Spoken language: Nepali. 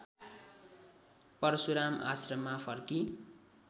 परशुराम आश्रममा फर्की